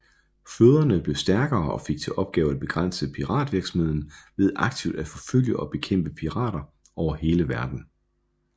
Flåderne blev stærkere og fik til opgave at begrænse piratvirksomheden ved aktivt at forfølge og bekæmpe pirater over hele verden